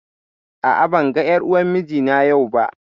A'a, ban ga ƴar uwar mijina yau ba